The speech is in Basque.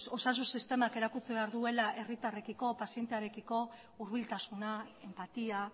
osasun sistemak erakutsi behar duela herritarrekiko pazientearekiko hurbiltasuna enpatia